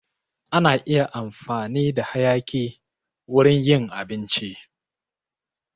Ana iya amfani da hayaki wurin yin abinci